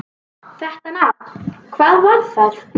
Þetta nafn: hvað var það?